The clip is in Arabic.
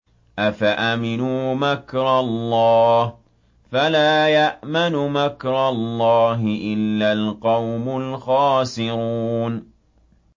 أَفَأَمِنُوا مَكْرَ اللَّهِ ۚ فَلَا يَأْمَنُ مَكْرَ اللَّهِ إِلَّا الْقَوْمُ الْخَاسِرُونَ